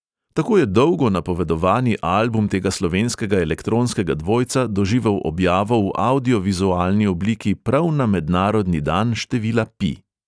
Tako je dolgo napovedovani album tega slovenskega elektronskega dvojca doživel objavo v avdio-vizualni obliki prav na mednarodni dan števila pi.